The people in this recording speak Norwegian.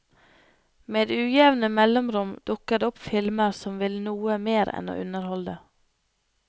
Med ujevne mellomrom dukker det opp filmer som vil noe mer enn å underholde.